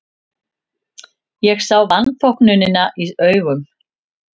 Ég sá vanþóknunina í augum